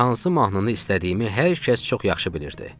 Çünki hansı mahnını istədiyimi hər kəs çox yaxşı bilirdi.